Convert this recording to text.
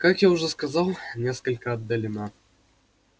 как я уже сказал несколько отдалена